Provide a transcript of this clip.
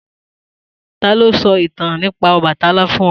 Ta ló sọ ìtàn nípa Ọbàtálá fún ọ?